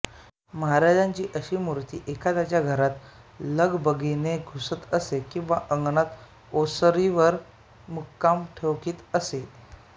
महाराजांची अशी मूर्ती एखाद्याच्या घरात लगबगीने घुसत असे किंवा अंगणात ओसरीवर मुक्काम ठोकीत असे